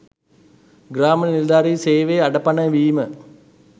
ග්‍රාම නිලධාරී සේවය අඩපණ වීම